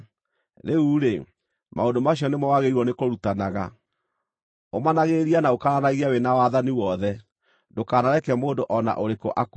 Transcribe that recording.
Rĩu-rĩ, maũndũ macio nĩmo wagĩrĩirwo nĩkũrutanaga. Ũmanagĩrĩria na ũkaananagie wĩ na wathani wothe. Ndũkanareke mũndũ o na ũrĩkũ akũire.